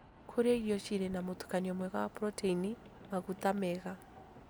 Kũrĩa irio cirĩ na mũtukanio mwega wa proteini, maguta mega